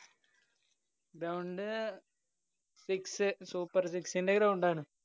Ground Six super six ന്‍റെ ground ആണ്.